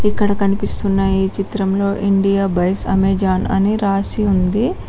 ఇక్కడ కనిపిస్తున్న ఈ చిత్రంలో ఇండియా బైస్ అమెజాన్ అని రాసి ఉంది.